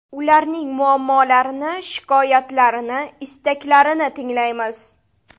Ularning muammolarini, shikoyatlarini, istaklarini tinglaymiz.